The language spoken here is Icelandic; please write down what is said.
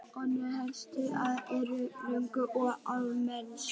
Önnur helstu tungumál eru rússneska og armenska.